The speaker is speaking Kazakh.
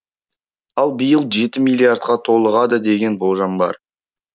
ал биыл жеті миллиардқа толығады деген болжам бар